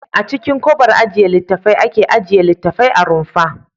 A cikin kobar ajiye littattafai ake ajiye littattafai a rumfa.